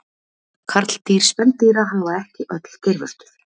karldýr spendýra hafa ekki öll geirvörtur